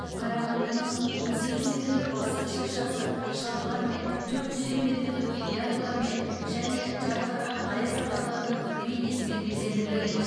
қарағандының он сегіз метрлік басты шыршасы шарлармен төрт жүз елу метрлік гирляндылармен және жарқыраған аяз аталардың бейнесімен безендірілген